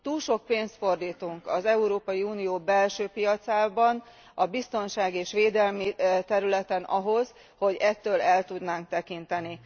Túl sok pénzt fordítunk az Európai Unió belső piacán a biztonság és védelem területére ahhoz, hogy ettől el tudnánk tekinteni.